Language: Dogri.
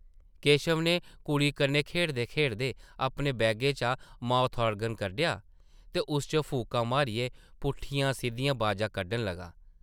केशव नै कुड़ी कन्नै खेढदे-खेढदे अपने बैगे चा माउथ-आर्गन कड्ढेआ ते उस च फूकां मारियै पुट्ठियां-सिद्धियां बाजां कड्ढन लगा ।